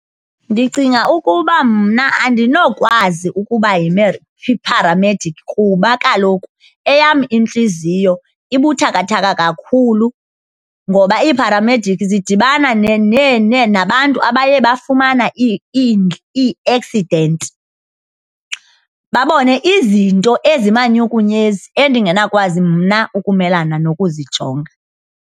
Ndicinga ukuba mna andinokwazi ukuba yipharamediki kuba kaloku eyam intliziyo ibuthakathaka kakhulu, ngoba iipharamediki zidibana nabantu abaye bafumana ii-accident, babone izinto ezimanyukunyezi endinganakwazi mna ukumelana nokuzijonga.